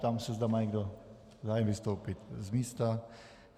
Ptám se, zda má někdo zájem vystoupit z místa.